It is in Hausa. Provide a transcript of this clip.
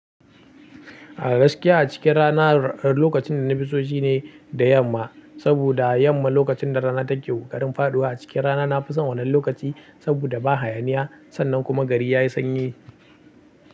A gaskiya a cikin rana lokacin da na fi so shine da yamma, saboda yamma lokacin da rana take kokarin faɗuwa. A cikin rana na fi son wannan lokaci saboda ba hayaniya sannan kuma gari ya yi sanyi.